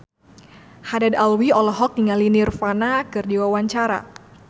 Haddad Alwi olohok ningali Nirvana keur diwawancara